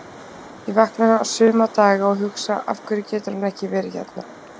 Ég vakna suma daga og hugsa Af hverju getur hann ekki verið hérna?